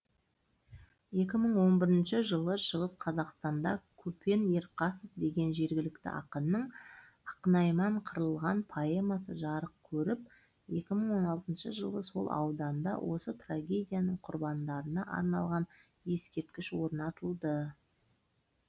екі мың он бірінші жылы шығыс қазақтанда көпен ерқасов деген жергілікті ақынның ақнайман қырылған поэмасы жарық көріп екі мың он алтыншы жылы сол ауданда осы трагедияның құрбандарына арналған ескерткіш орнатылды